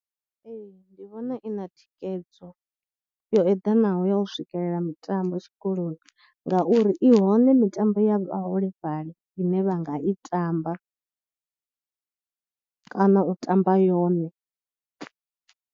Nṋe ndi vhona i na thikhedzo yo eḓanaho ya u swikelela mitambo tshikoloni ngauri i hone mitambo ya vhaholefhali ine vha nga i tamba kana u tamba yone.